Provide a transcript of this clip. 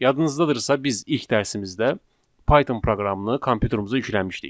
Yadınızdadırsa, biz ilk dərsimizdə Python proqramını kompyuterimizə yükləmişdik.